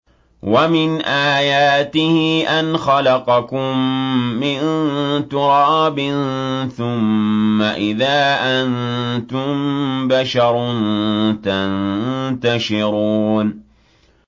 وَمِنْ آيَاتِهِ أَنْ خَلَقَكُم مِّن تُرَابٍ ثُمَّ إِذَا أَنتُم بَشَرٌ تَنتَشِرُونَ